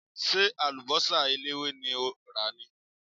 Ṣé àlùbọ́sà eléwé ni o rà ni?